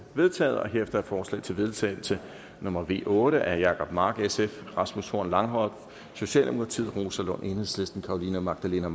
vedtaget herefter er forslag til vedtagelse nummer v otte af jacob mark rasmus horn langhoff rosa lund carolina magdalene